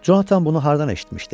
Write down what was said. Jonathan bunu hardan eşitmişdi?